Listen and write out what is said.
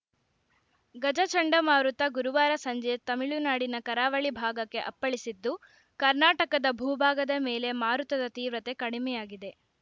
ಗಜ ಚಂಡಮಾರುತ ಗುರುವಾರ ಸಂಜೆ ತಮಿಳುನಾಡಿನ ಕರಾವಳಿ ಭಾಗಕ್ಕೆ ಅಪ್ಪಳಿಸಿದ್ದು ಕರ್ನಾಟಕದ ಭೂಭಾಗದ ಮೇಲೆ ಮಾರುತದ ತೀವ್ರತೆ ಕಡಿಮೆಯಾಗಿದೆ